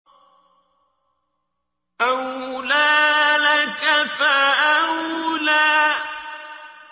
أَوْلَىٰ لَكَ فَأَوْلَىٰ